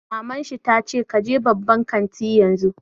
Maman shi ta ce 'Ka je babban kantin yanzu'!